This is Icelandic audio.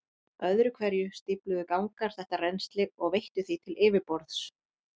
Öðru hverju stífluðu gangar þetta rennsli og veittu því til yfirborðs.